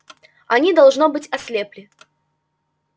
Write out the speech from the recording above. они должно быть ослепли